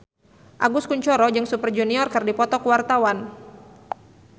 Agus Kuncoro jeung Super Junior keur dipoto ku wartawan